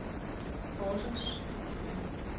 Horsens